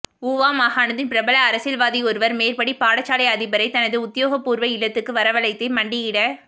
ஊவா மாகாணத்தின் பிரபல அரசியல்வாதியொருவர் மேற்படி பாடசாலை அதிபரை தனது உத்தியோகப்பூர்வ இல்லத்துக்கு வரவழைத்தே மண்டியிடச்